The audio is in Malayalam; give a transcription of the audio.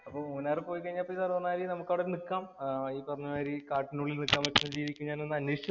പിന്നെ മൂന്നാറ് വഴി പോയിക്കഴിഞ്ഞാല്‍ അതെ മാതിരി നമുക്കവിടെ നിക്കാം. ഈ പറഞ്ഞ മാതിരി കാട്ടിനുള്ളില്‍ നിക്കാന്‍ പറ്റുന്ന രീതിക്ക് ഞാനൊന്നന്വേഷിച്ചു നൊക്കട്ടെ.